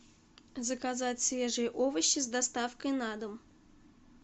заказать свежие овощи с доставкой на дом